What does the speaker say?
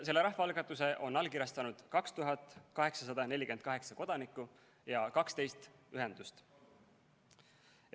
Selle rahvaalgatuse on allkirjastanud 2848 kodanikku ja 12 ühendust.